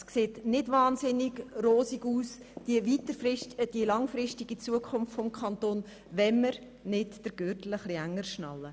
Die langfristige Zukunft des Kantons sieht nicht wahnsinnig rosig aus, wenn wir den Gürtel nicht enger schnallen.